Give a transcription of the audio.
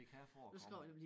Det kan forekomme